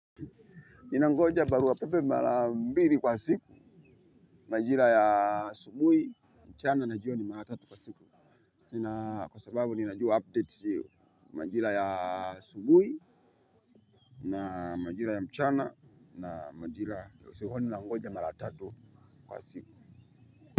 Ninangoja barua pepe mara mbili kwa siku, majira ya asubuhi, mchana na jioni mara tatu kwa siku. Kwa sababu ninajua updates sio, majira ya asubuhi na majira ya mchana na majira ya usiku kwani nangoja mara tatu kwa siku.